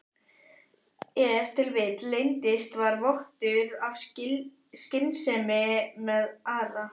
Ef til vill leyndist enn vottur af skynsemi með Ara?